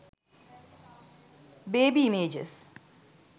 baby images